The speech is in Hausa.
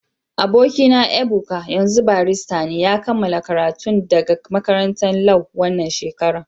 Aboki na Ebuka, yanzun barista ne. Ya kamala karatun daga makarantan Lau wanan shekaran.